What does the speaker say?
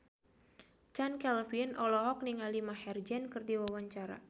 Chand Kelvin olohok ningali Maher Zein keur diwawancara